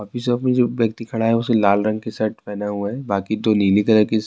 اپ کے سامنے جو ایکتی کھڑا ہے وہ لال رنگ کی شرٹ پہنے ہوئے ہیں باقی سب نیلے رنگ